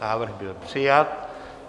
Návrh byl přijat.